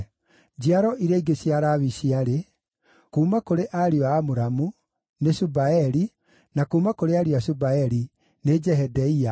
Njiaro iria ingĩ cia Lawi ciarĩ: kuuma kũrĩ ariũ a Amuramu: nĩ Shubaeli; na kuuma kũrĩ ariũ a Shubaeli: nĩ Jehedeia.